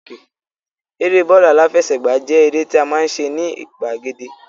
Eré bọ́ọ̀lù aláfẹsẹ̀gbá jẹ́ eré tí a máa ń ṣe ní gbàgede